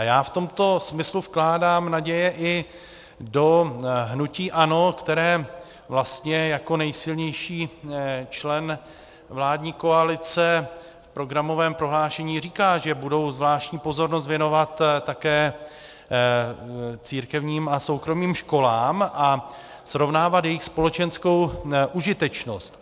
A já v tomto smyslu vkládám naděje i do hnutí ANO, které vlastně jako nejsilnější člen vládní koalice v programovém prohlášení říká, že budou zvláštní pozornost věnovat také církevním a soukromým školám a srovnávat jejich společenskou užitečnost.